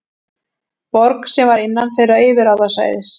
Borg sem var innan þeirra yfirráðasvæðis.